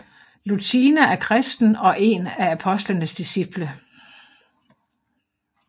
Lucina er kristen og én af apostlenes disciple